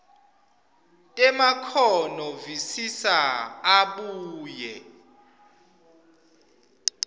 temakhono visisa abuye